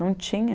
Não tinha.